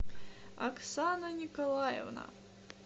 оксана николаевна